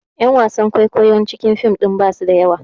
Ƴan wasan kwaikwayon cikin fim ɗin basu da yawa